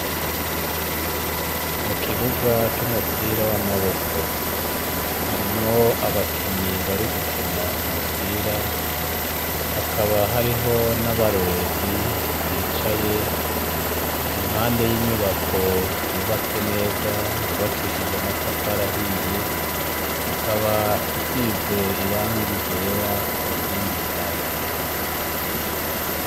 Mu kibuga c'umupira w'amaboko harimwo abakinyi bari gukina umupira hakaba hariho n'abarorerezi bicaye impande y'inyubako yubatse neza yubakishije matafarahiye ikaba isize iranga gera ku nkingi zayo.